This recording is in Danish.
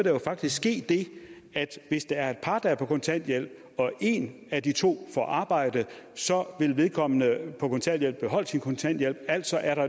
jo faktisk ske det at hvis der er et par der er på kontanthjælp og en af de to får arbejde vil vedkommende på kontanthjælp beholde sin kontanthjælp altså er